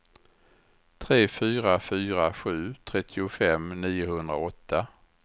tre fyra fyra sju trettiofem niohundraåtta